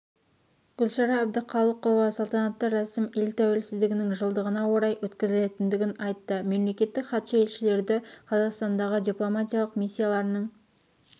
гүлшара әбдіқалықова салтанатты рәсім ел тәуелсіздігінің жылдығына орай өткізілгендігін айтты мемлекеттік хатшы елшілерді қазақстандағы дипломатиялық миссияларының